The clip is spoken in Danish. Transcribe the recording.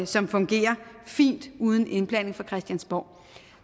som fungerer fint uden indblanding fra christiansborg